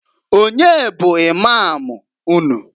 Onye bụ Imam unu?